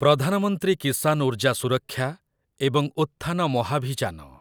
ପ୍ରଧାନ ମନ୍ତ୍ରୀ କିସାନ ଉର୍ଜା ସୁରକ୍ଷା ଏବଂ ଉତ୍ଥାନ ମହାଭିଯାନ